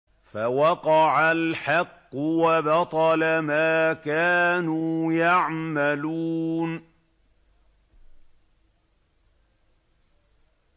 فَوَقَعَ الْحَقُّ وَبَطَلَ مَا كَانُوا يَعْمَلُونَ